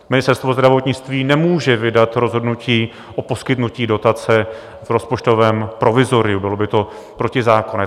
Ministerstvo zdravotnictví nemůže vydat rozhodnutí o poskytnutí dotace v rozpočtovém provizoriu, bylo by to protizákonné.